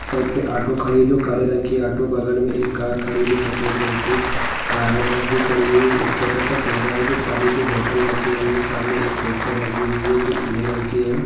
Side पर auto खड़ी है जो काले रंग की ऑटो है बगल में एक कार खड़ी है जो सफेद रंग की कार है बस भी खड़ी हुई है एक छोटा-सा ठेला है जो पानी की बोतल रखी हुई है सामने पोस्टर लगी हुई है जो पीले रंग की है।